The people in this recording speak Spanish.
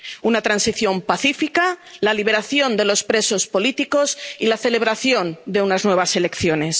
Una transición pacífica, la liberación de los presos políticos y la celebración de unas nuevas elecciones.